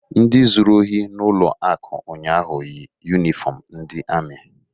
Ndị zuru ohi n'ụlọ akụ ụnyaahụ yi yunifọmụ ndị amị.